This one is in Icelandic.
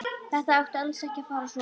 Þetta átti alls ekki að fara svona.